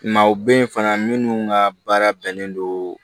Maaw bɛ yen fana minnu ka baara bɛnnen don